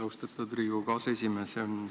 Austatud Riigikogu aseesimees!